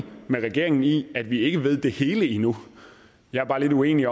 med regeringen i at vi ikke ved det hele endnu jeg er bare lidt uenig